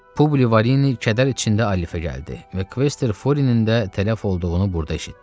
Publi Varini kədər içində Alifə gəldi və Kvester Furinin də tələf olduğunu burda eşitdi.